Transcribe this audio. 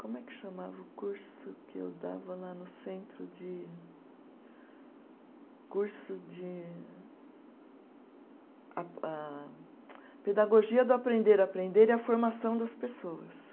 Como é que chamava o curso que eu dava lá no centro de, curso de a ah, Pedagogia do aprender a aprender e a Formação das Pessoas.